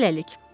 Hələlik.